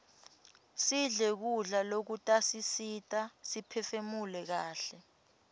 sidle kudla lokutasisita siphefumule kaihle